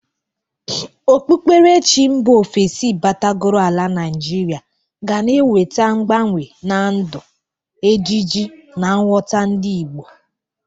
Okpukperechi mba ofesi batagoro ala Naijiria ga na-eweta mgbanwe na ndu, ejiji na nghọta ndị Igbo.